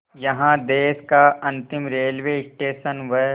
यहाँ देश का अंतिम रेलवे स्टेशन व